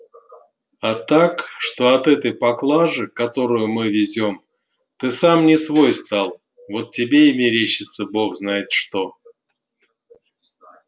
а так что от этой поклажи которую мы везём ты сам не свой стал вот тебе и мерещится бог знает что